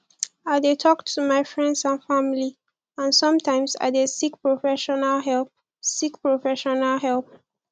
i dey talk to my friends and family and sometimes i dey seek professional help seek professional help